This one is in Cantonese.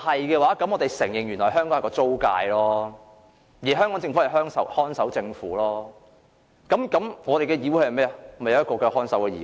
如果是，我們便要承認香港是一個租界，香港政府是看守政府，這個議會也是一個看守議會。